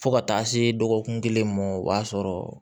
Fo ka taa se dɔgɔkun kelen ma o b'a sɔrɔ